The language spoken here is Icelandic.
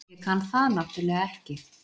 Ég kann það náttúrlega ekki.